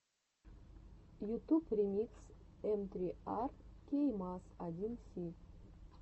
ютуб ремикс эм три ар кей маз один си